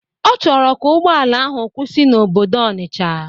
Ọ chọrọ ka ụgbọala ahụ kwụsị n'obodo Ọnisha.